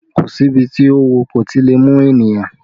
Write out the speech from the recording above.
Kò si ibi tí oówo kò ti lè mú ènìyàn